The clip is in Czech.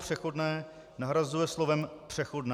"Přechodné" nahrazuje slovem "Přechodná".